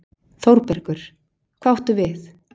ÞÓRBERGUR: Hvað áttu við?